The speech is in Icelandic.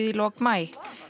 í lok maí